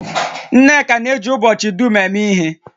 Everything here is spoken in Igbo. Nneka na-eji ubochi dum eme ihe